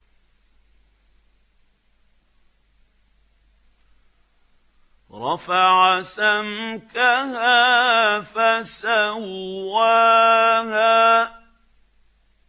رَفَعَ سَمْكَهَا فَسَوَّاهَا